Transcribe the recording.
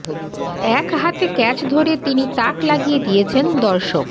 এক হাতে ক্যাচ ধরে তিনি তাক লাগিয়ে দিয়েছেন দর্শক